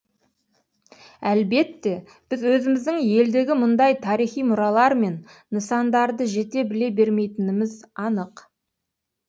әлбетте біз өзіміздің елдегі мұндай тарихи мұралар мен нысандарды жете біле бермейтініміз анық